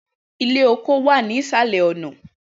Ilẹ oko wa ni isalẹ ọna.